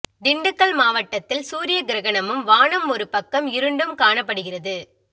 திண்டுக்கல் மாவட்டதில் சூரிய கிரகணமும் வானம் ஒரு பக்கம் இருண்டும் காணப்படுகிறது